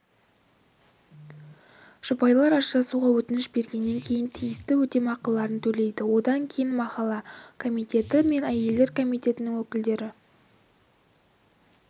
жұбайлар ажырасуға өтініш бергеннен кейін тиісті өтемақыларын төлейді одан кейін махалла комитеті мен әйелдер комитетінің өкілдері